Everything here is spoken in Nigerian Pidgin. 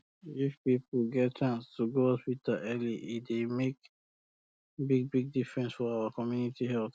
if people get chance to go hospital early e dey make bigbig difference for our community health